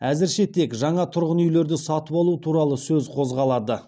әзірше тек жаңа тұрғын үйлерді сатып алу туралы сөз қозғалады